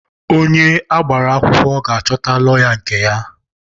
Onye agbara akwụkwọ ga-achọta lọya nke ya.